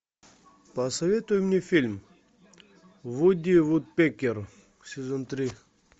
посоветуй мне фильм вуди вудпекер сезон три